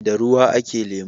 da ruwa a ke lemo